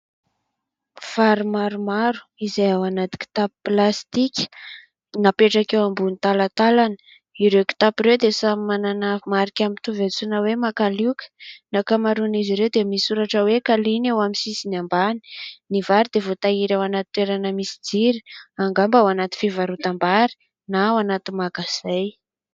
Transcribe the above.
Vary maromaro izay ao anaty kitapo plastika napetraka eo ambony talantalana. Ireo kitapo ireo dia samy manana marika mitovy antsoina hoe makalioka. Ny ankamaroan'izy ireo dia misy soratra hoe Kaliana eo amin'ny sisiny ambany. Ny vary dia voatahiry ao anaty toerana misy jiro. Angamba ao anaty fivarotam-bary na ao anaty magazay.